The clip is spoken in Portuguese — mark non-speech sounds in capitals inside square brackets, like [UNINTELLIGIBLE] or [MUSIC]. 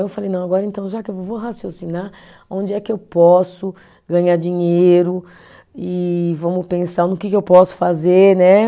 Eu falei, não, agora então, já que eu, [UNINTELLIGIBLE] vou raciocinar, onde é que eu posso ganhar dinheiro e vamos pensar no que que eu posso fazer, né?